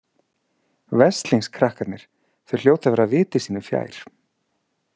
Veslings krakkarnir, þau hljóta að vera viti sínu fjær.